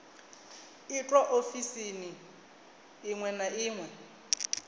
itwa ofisini iṅwe na iṅwe